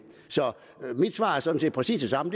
mit svar er sådan set præcis det samme